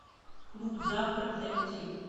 клуб завтрак найти